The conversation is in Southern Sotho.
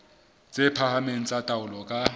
tse phahameng tsa taolo ka